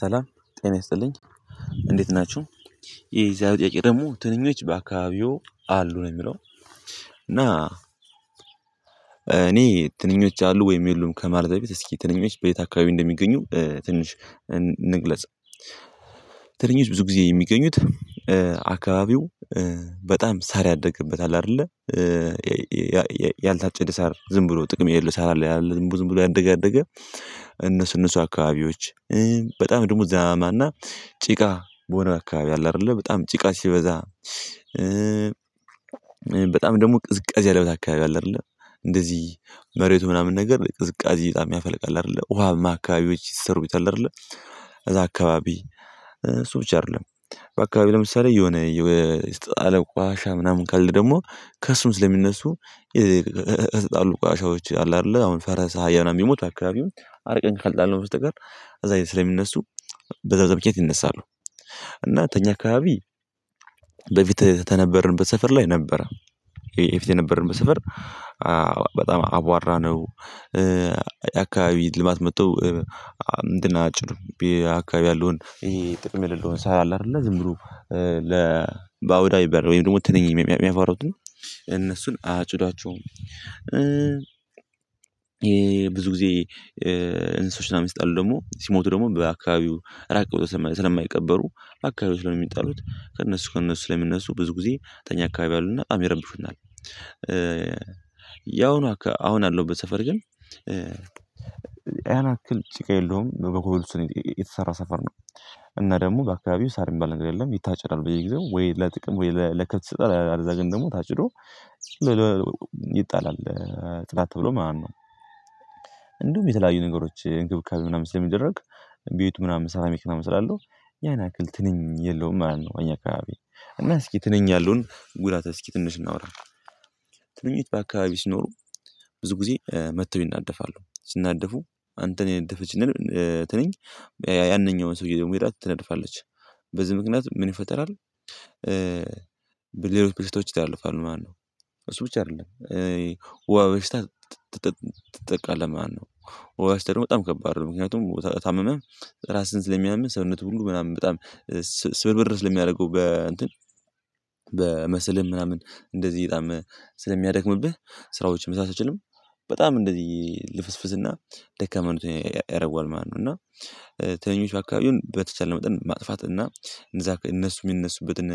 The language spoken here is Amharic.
ሰላም ጤና ይስጥልኝ እንዴት ናችሁ። የዛሬ ጥያቄ ደግሞ ትንኞች በአካባቢው አሉ ነው የሚለው? እና እኔ ትንኞች አሉ ወይም የሉም ከማለት በፊት እስኪ ትንሽ በየት አካባቢ እንደሚገኙ ትንሽ እንግለጽ። ትንሽ ብዙ ጊዜ የሚገኙት አካባቢው በጣም ሳር ያደገበት አይደለ። ያልታጨደ ሳር ዝም ብሎ ጥቅም የሌለው ሳር አለ ዝም ብሎ ያደገ ያደገ እነሱ እነሱ አካባቢዎች በጣም ደግሞ ዝናባማ ጭቃ በሆነ አካባቢ አለ አይደለ በጣም ጭቃ ሲበዛ። በጣም ደግሞ ቅዝቃዜ ያአለው አካባቢ አለ አይደለ እንደዚህ መሬቱ ምናምን ነገር ቅዝቃዜ በጣም ያፈለቃል አይደለ ውሃም አካባቢዎች ይሰሩታል አይደለ። እዛ አካባቢ እሱ ብቻ አይደለም በአካባቢ ለምሳሌ የሆነ የተጣለ ቆሻሻ ምናምን ካልሆነ ደግሞ ከእሱም ስለሚነሱ የተጣሉ ቆሻሻዎች አሉ አይደለ። አሁን ፈረስ አሀያ ምናምን ቢሞት አካባቢው አርቀን ካልጣልነው በቀር እዛ አይነት ስለሚነሱ በዛ በዛ ምክንያት ይነሳሉ። እና ተኛ አካባቢ በፊት ተነበርንበት ሰፈር ላይ ነበር። የፊት የነበርንበት ሰፈር በጣም አቧራነው። ልማት መጥቶ አንድ አጭር አካባቢ ያለውን ይሄ ጥቅም የሌለውን ሳህ አለ አይደለ ዝም ብሩ ለ በአውዳዊ በር ወይም ደግሞ ትንኝ የሚያፈሩት እነሱን አጭዷቸው። ብዙ ጊዜ እንስሳዎችን ሲጣሉ ደግሞ ሲሞቱ ደግሞ በአካባቢው ራቀብ ስለማይቀበሩ አካባቢው ስለሚጣሉት ከእነሱ ከእነሱ ላይ የምነሱ ብዙ ጊዜ ተኛ አካባቢ አሉና በጣም ይረብሹናል። ያውኑ አሁን ያለውበት በሰፈር ግን ያን ያክል ጭቃ የለውም በኮብለስቶን የተሰራ ሰፈር ነው። እና ደግሞ በአካባቢው ሳር የሚባል ነገር የለም ይታጨዳል በየጊዜው ወይ ለጥቅም ወይ ለከብት ይሰጣል አለዚያ ግን ታጭዶ ይጣላል። ጥላ ተብሎ ማን ነው? እንደውም የተለያዩ ነገሮች እንክብካቤ ምናምን ሲለሚደረግ ቤቱ ምናምን ሴራሚክ ምናምን ስላለው ያን ያክል ትንንሽ የለውም ማለት ነው። እኛ አካባቢ እና እስኪ ትንንሽ ያለውን ጉዳት እስኪ ትንሽ እናውራ። ትንኝ በአካባቢ ሲኖሩ ብዙ ጊዜ መጥተው ይናደፋሉ ሲናደፉ አንተን የነደፈች ትንኝ ያንኛውን ሰውዬ ደግሞ ሄዳ ትነድፋለች በዚህ ምክንያት ምን ይፈጠራል? ሌሎች በሽታዎች ይታለፋሉ ማነው እሱ ብቻ አይደለም። ወባ በሽታ ትጠቃለህ ማነው ወባ ሽታ ደግሞ በጣም ከባድ ነው። ምክንያቱም ታመመህ ራስህን ስለሚያምህ ሰውነትህ ሁሉ ምናምን በጣም ስብርብር ስለሚያደርገው በ እንትን መስልህን ምናምን እንደዚህ በጣምስለሚያደክምብህ ስራዎችን መስራት አትችልም። በጣም እንደዚህ ልፍስፍስና ደካማ ያረኩሃል ማለት ነው። እና ትንኞች አካባቢውን በተቻለ መጠን ማጥፋት እና እነዛ እነሱ የሚነሱበትን